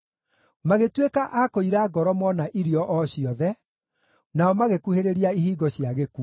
Magĩtuĩka a kũira ngoro mona irio o ciothe, nao magĩkuhĩrĩria ihingo cia gĩkuũ.